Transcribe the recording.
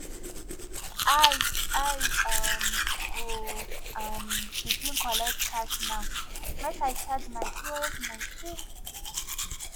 i i um go um begin collect cash now make i charge my pos machine